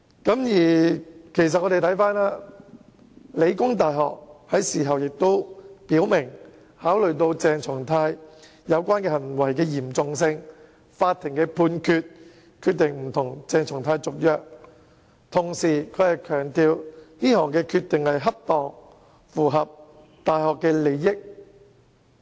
香港理工大學已經表明，基於鄭松泰有關行為的嚴重性及法庭作出的判決，決定不與他續約，並且強調這項決定不但恰當，而且符合大學的利益。